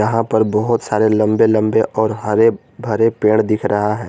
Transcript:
यहां पर बहुत सारे लंबे लंबे और हरे भरे पेड़ दिख रहा है।